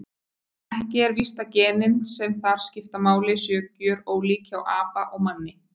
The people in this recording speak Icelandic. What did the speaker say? Ekki er víst að genin sem þar skipta máli séu gjörólík hjá apa og manni.